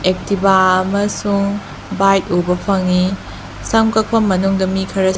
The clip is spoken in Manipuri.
ꯑꯦꯛꯇꯤꯕꯥ ꯑꯃꯁꯨꯡ ꯕꯥꯏꯛ ꯎꯕ ꯐꯪꯏ ꯁꯝ ꯀꯛꯐꯝ ꯃꯅꯨꯡꯗ ꯃꯤ ꯈꯔ --